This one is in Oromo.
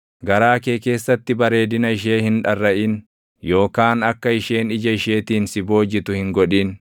Garaa kee keessatti bareedina ishee hin dharraʼin; yookaan akka isheen ija isheetiin si boojitu hin godhin.